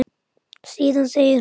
Síðan segir hún